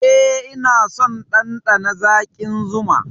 Eh, ina son ɗanɗana zaƙin zuma.